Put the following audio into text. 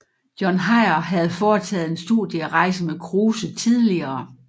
John Heyer havde foretaget en studierejse med Kruse tidligere